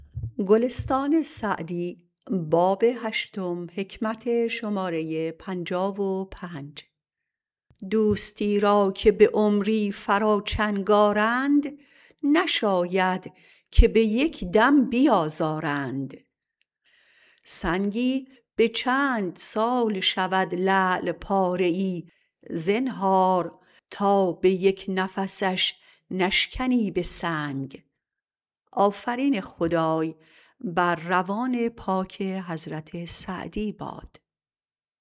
دوستی را که به عمری فرا چنگ آرند نشاید که به یک دم بیازارند سنگی به چند سال شود لعل پاره ای زنهار تا به یک نفسش نشکنی به سنگ